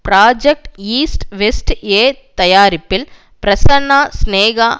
project east west A தயாரிப்பில் பிரசன்னா சினேகா